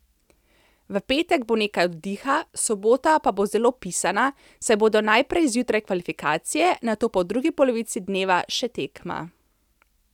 V petek bo nekaj oddiha, sobota pa bo zelo pisana, saj bodo najprej zjutraj kvalifikacije, nato pa v drugi polovici dneva še tekma.